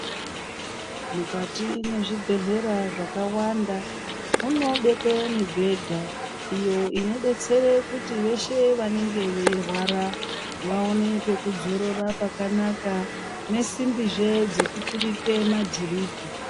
Mukati mezvibhedhlera zvakawanda munobekwe mibhedha iyo inoite kuti veshe vanorwara vaone pekuzorora pakanaka nesimbizve dzekuturike madhiripi.